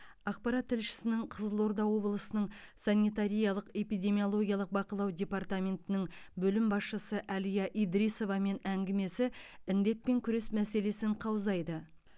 ақпарат тілшісінің қызылорда облысының санитариялық эпидемиологиялық бақылау департаментінің бөлім басшысы әлия идрисовамен әңгімесі індетпен күрес мәселесін қаузайды